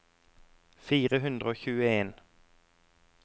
fire hundre og tjueen